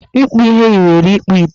Ịkpụ ihe yiwere ịkpụ ite